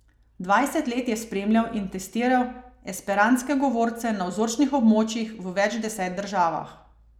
Dvajset let je spremljal in testiral esperantske govorce na vzorčnih območjih v več deset državah.